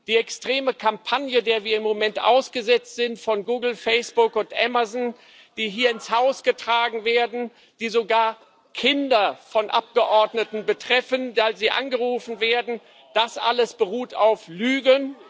Die extreme Kampagne von Google, Facebook und Amazon, der wir im Moment ausgesetzt sind, die hier ins Haus getragen werden, die sogar Kinder von Abgeordneten betreffen, da sie angerufen werden das alles beruht auf Lügen.